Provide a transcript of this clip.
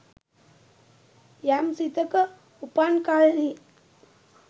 යම් සිතක උපන් කල්හි